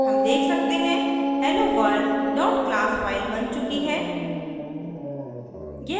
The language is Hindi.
हम देख सकते हैं helloworld class फ़ाइल बन चुकी है